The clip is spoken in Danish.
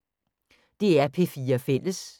DR P4 Fælles